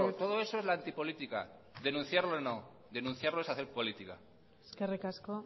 todo eso es la antipolítica denunciarlo no denunciarlo es hacer política eskerrik asko